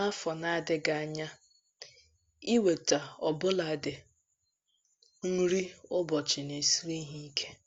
N’afọ na - adịghị anya, inweta ọbụladi nri ụbọchị na -esiri ha ike.